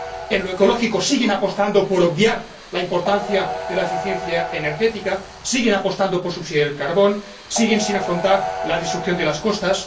En lo ecológico siguen apostando por obviar la importancia de la eficiencia energética, siguen apostando por subsidiar el carbón, siguen sin afrontar la destrucción de las costas.